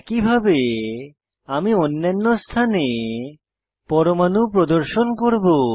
একইভাবে আমি অন্যান্য স্থানে পরমাণু প্রদর্শন করব